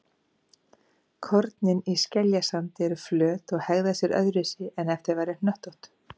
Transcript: Kornin í skeljasandi eru flöt og hegða sér öðruvísi en ef þau væru hnöttótt.